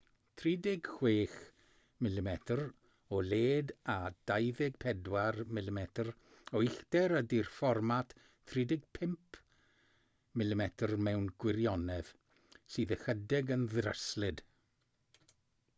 36mm o led a 24mm o uchder ydy'r fformat 35mm mewn gwirionedd sydd ychydig yn ddryslyd